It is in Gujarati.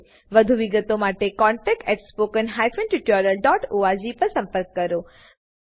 વધુ વિગતો માટે કૃપા કરી contactspoken tutorialorg પર લખો